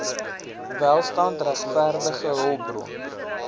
welstand regverdige hulpbron